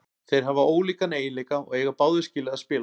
Þeir hafa ólíka eiginleika og eiga báðir skilið að spila.